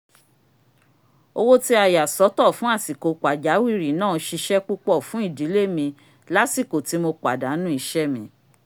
owó tí a yà sọ́tọ̀ fún àsìkò pàjáwìrì náà ṣisẹ́ púpọ̀ fún ìdílé mi lásìkò ti mo pàdánù iṣẹ́ mi